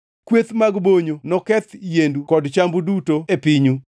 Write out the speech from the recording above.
Kweth mag bonyo noketh yiendu kod chambu duto e pinyu.